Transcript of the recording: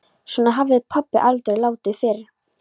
Svona hafði pabbi aldrei látið fyrr.